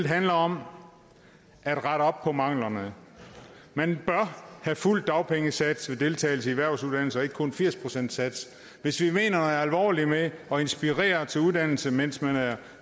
handler om at rette op på manglerne man bør have fuld dagpengesats ved deltagelse i erhvervsuddannelser og ikke kun firs procent af satsen hvis vi mener det alvorligt med at inspirere til uddannelse mens man er